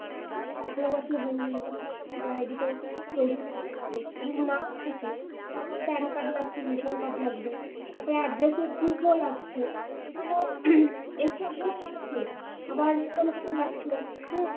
মানে আঠারো বছর হয়নি মানে কর একটা voter ID তো তৈরি হয়ে যাবে। যদি নাও থাকে তাহলে pan card লাগছে vison card লাগবে। তারপরে address prove ও লাগছে মানে এইসব উহ লাগা শেষ আবার vison card লাগছে। হম